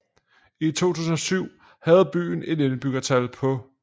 I 2007 havde byen et indbyggertal på